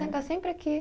Ela está sempre aqui.